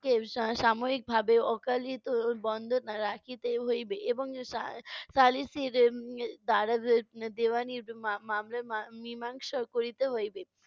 কে সামরিকভাবে অকালিত বন্ধ রাখিতে হইবে। এবং, ছা~ শালিসির দ্বারা দেওয়ানির মা~ মামলা~ মা~ মীমাংসা করিতে হইবে।